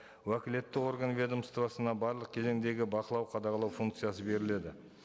уәкілетті орган ведомствосына барлық кезеңдегі бақылау қадағалау функциясы беріледі